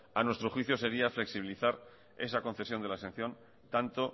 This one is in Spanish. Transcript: a nuestro juicio sería flexibilizar esa concesión de la exención tanto